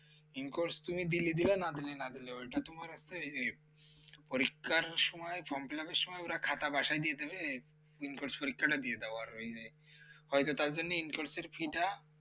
incourse তুমি দিলে দিলে না দিলে না দিলে ওইটা তোমার হচ্ছে এই যে পরীক্ষার সময় form fill up এর সময় ওরা খাতা বাসায় দিয়ে দেবে in course পরীক্ষাটা দিয়ে দাও আর ওই যে হয়তো তার জন্য in course এর fee টা